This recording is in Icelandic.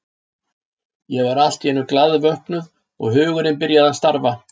Ég var allt í einu glaðvöknuð og hugurinn byrjaði að starfa.